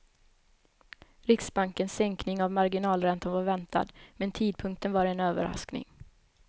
Riksbankens sänkning av marginalräntan var väntad, men tidpunkten var en överraskning.